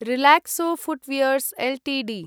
Relaxo footwears Ltd